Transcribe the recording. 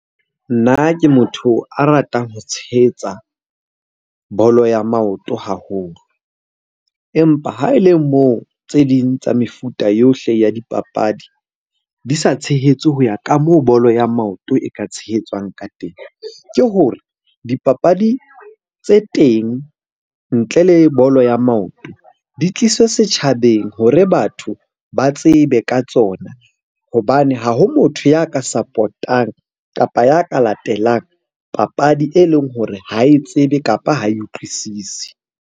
Nna ke motho a ratang ho tshehetsa bolo ya maoto haholo, empa ha e le moo tse ding tsa mefuta yohle ya dipapadi di sa tshehetse ho ya ka moo bolo ya maoto e ka tshehetswang ka teng. Ke hore dipapadi tse teng ntle le bolo ya maoto, di tliswe setjhabeng hore batho ba tsebe ka tsona. Hobane ha ho motho ya ka support-ang, kapa ya ka latelang papadi e leng hore ha e tsebe, kapa ha e utlwisisi.